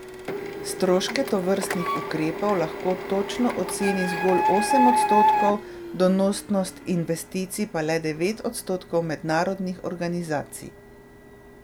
Stroške tovrstnih ukrepov lahko točno oceni zgolj osem odstotkov, donosnost investicij pa le devet odstotkov mednarodnih organizacij.